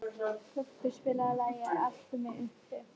Kubbur, spilaðu lagið „Eltu mig uppi“.